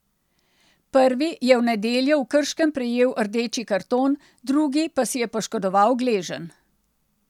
Prvi je v nedeljo v Krškem prejel rdeči karton, drugi pa si je poškodoval gleženj.